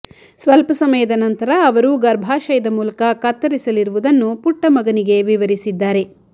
ಸ್ವಲ್ಪ ಸಮಯದ ನಂತರ ಅವರು ಗರ್ಭಾಶಯದ ಮೂಲಕ ಕತ್ತರಿಸಲಿರುವುದನ್ನು ಪುಟ್ಟ ಮಗನಿಗೆ ವಿವರಿಸಿದ್ದಾರೆ